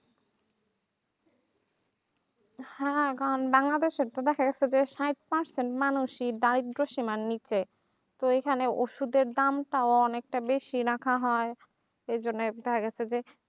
হ্যাঁ কারণ বাংলাদেশে তো দেখা যাচ্ছে যে সাইত পাঁইচ জন মানুষই দারিদ্র সীমার নিচে তো এইখানে ওষুদের দাম টাও অনেকটা বেশি রাখা হয় এই জন্যে দেখা গেছে যে